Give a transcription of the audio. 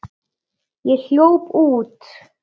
Ég hljóp út.